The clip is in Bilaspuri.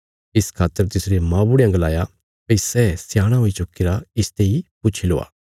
इस खातर तिसरे मौबुढ़यां गलाया भई सै सयाणा हुई चुक्कीरा इसते इ पुछी लवा